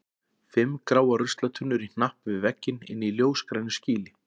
Fimm gráar ruslatunnur í hnapp við vegginn inni í ljósgrænu skýli.